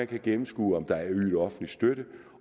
kan gennemskue om der er ydet offentlig støtte